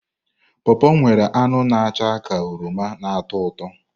pọọpọ nwere anụ na acha ka oroma na ụtọ ụtọ.